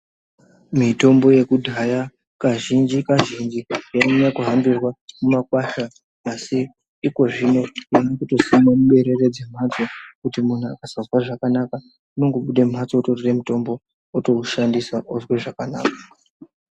Mutombo yekudhaya kazhinji kazhinji yainyanya yaihambirwa mumakwasha asi ikozvine yatokusimwa muberere dzemhatso kuti munhu akasanzwa zvakanaka unongobuda mumhatso otorya mutombo otoushandisa otonzwa zvakanaka.